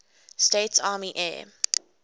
states army air